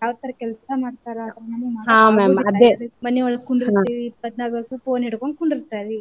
ಯಾವ ತರಾ ಕೆಲ್ಸಾ ಮಾಡ್ತಾರ ಮನಿಯೊಳಗ ಕುಂದರ್ತೆವಿ ಇಪ್ಪತ್ತ್ನಾಕು ತಾಸು Phone ಹಿಡ್ಕೊಂಡ ಕುಂದುರ್ತಾರೀ.